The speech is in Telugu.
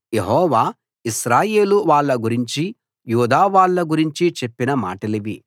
యెహోవా ఇశ్రాయేలు వాళ్ళ గురించి యూదా వాళ్ళ గురించి చెప్పిన మాటలివి